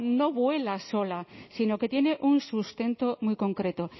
no vuela sola sino que tiene un sustento muy concreto